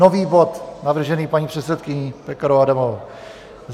Nový bod navržený paní předsedkyní Pekarovou Adamovou.